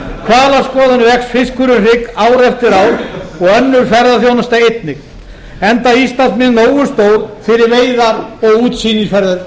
vör hvalaskoðun vex fiskur um hrygg ár eftir ár og önnur ferðaþjónusta einnig enda íslandsmið nógu stór fyrir veiðar og útsýnisferðir